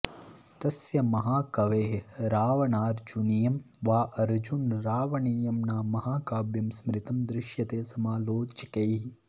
तस्य महाकवेः रावणार्जुनीयं वा अर्जुनरावणीयं नाम महाकाव्यं स्मृतं दृश्यते समालोचकैः